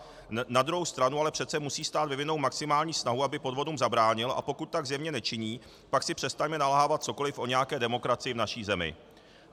Na druhou stranu ale přece musí stát vyvinout maximální snahu, aby podvodům zabránil, a pokud tak zjevně nečiní, pak si přestaňme nalhávat cokoliv o nějaké demokracii v naší zemí.